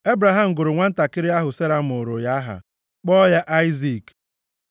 Ebraham gụrụ nwantakịrị ahụ Sera mụụrụ ya aha, kpọọ ya Aịzik.